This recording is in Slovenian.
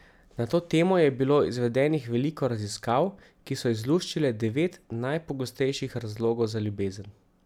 Na to temo je bilo izvedenih veliko raziskav, ki so izluščile devet najpogostejših razlogov za ljubezen.